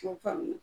K'o faamu